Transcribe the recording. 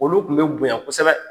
Olu tun be bonya kosɛbɛ.